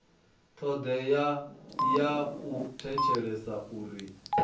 thodea ya u thetshelesa uri